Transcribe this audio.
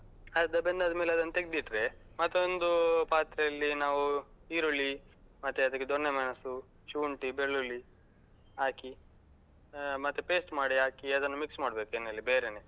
ಅರ್ಧ ಬೆಂದಾದ್ಮೇಲೆ ಅದನ್ನ ತೆಗ್ದಿಟ್ರೆ, ಮತ್ತೊಂದು ಪಾತ್ರೆಯಲ್ಲಿ ನಾವು ಈರುಳ್ಳಿ ಮತ್ತೆ ಅದಕ್ಕೆ ದೊಣ್ಣೆ ಮೆಣಸು, ಶುಂಠಿ, ಬೆಳ್ಳುಳ್ಳಿ ಹಾಕಿ ಅಹ್ ಮತ್ತೆ paste ಮಾಡಿ ಹಾಕಿ ಅದನ್ನ mix ಮಾಡ್ಬೇಕು ಎಣ್ಣೆಲಿ ಅದನ್ನು ಬೇರೇನೆ.